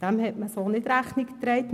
Dem hat man so nicht Rechnung getragen.